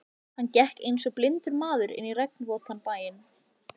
Hann gekk einsog blindur maður inn í regnvotan bæinn.